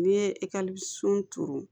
N'i ye ekɔlisow turu